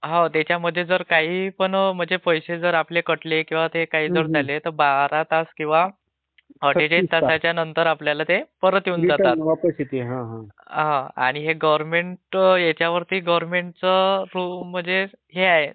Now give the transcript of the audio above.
हो त्याच्यामध्ये आपले काहीपण म्हणजे पैसे जर कटले..जर काही कटझाले तर बारा तास किंवा दीड एक तासाच्या नंतर आपल्याला ते परत येऊन जातात. Voice overlappingआणि हे गव्हर्न्मेंट ह्याच्यावरती म्हणजे गव्हर्न्मेटचं म्हणजे हे आहे..